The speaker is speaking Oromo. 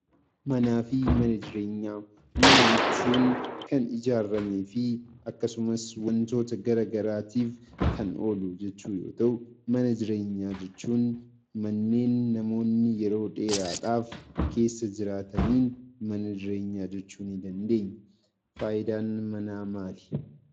Manaa fi mana jireenyaa Mana jechuun kan ijaarramee fi akkasumas waantota garaagaraatiif kan oolu jechuu yoo ta'u, mana jireenyaa jechuun manneen namoonni yeroo dheeraadhaaf keessa jiraataniin mana jireenyaa jechuu ni dandeenya. Fayidaan manaa maali?